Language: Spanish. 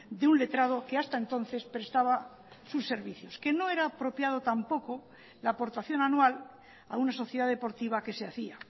de un letrado que hasta entonces prestaba sus servicios que no era apropiado tampoco la aportación anual a una sociedad deportiva que se hacía